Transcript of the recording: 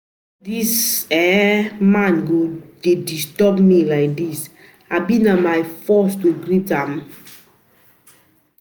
Why dis um dis um man go dey um disturb me like dis, abi na by force to greet um person?